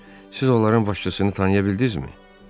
Siz onların başçısını tanıya bildinizmi?